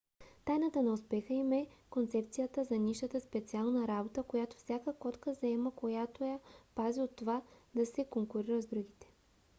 тайната на успеха им е концепцията за нишата специална работа която всяка котка заема която я пази от това да се конкурира с другите